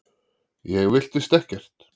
Ég villtist ekkert.